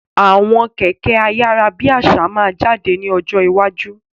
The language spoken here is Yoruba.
Àwọn Kẹ̀kẹ́ ayárábiàsà máa jáde ní ọjọ́ iwájú.